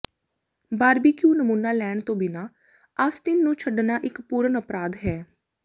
barbecue ਨਮੂਨਾ ਲੈਣ ਤੋਂ ਬਿਨਾਂ ਆਸਟਿਨ ਨੂੰ ਛੱਡਣਾ ਇੱਕ ਪੂਰਨ ਅਪਰਾਧ ਹੈ